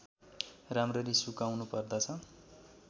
राम्ररी सुकाउनुपर्दछ